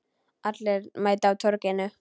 Allir mæta á Torginu